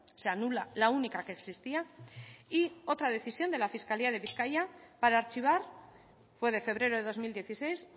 se anula la única que existía y otra decisión de la fiscalía de bizkaia para archivar fue de febrero de dos mil dieciséis